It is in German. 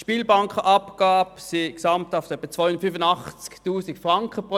Durch die Spielbankenabgabe werden jährlich etwa 285 000 Franken eingespeist.